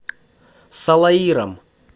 салаиром